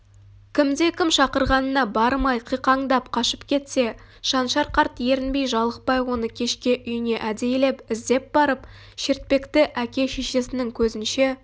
кімде-кім шақырғанына бармай қиқаңдап кашып кетсе шаншар қарт ерінбей-жалықпай оны кешке үйіне әдейілеп іздеп барып шертпекті әке-шешесінің көзінше